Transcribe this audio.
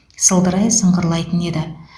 сылдырай сыңғырлайтын еді